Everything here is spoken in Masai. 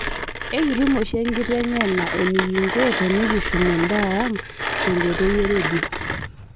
Ekitum oshi enkiteng'ena enikinko tinikishum endaa ang' te enkoitoi e rendio